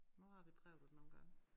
Nu har vi prøvet det nogle gange